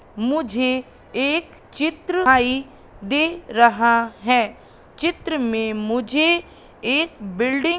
मुझे एक चित्र दिखाई दे रहा हैं चित्र में मुझे एक बिल्डिंग --